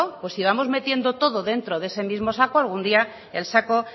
pues si vamos metiendo todo dentro de ese mismo saco algún día el saco